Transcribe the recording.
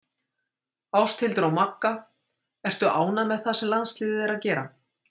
Ásthildur og Magga Ertu ánægð með það sem landsliðið er að gera?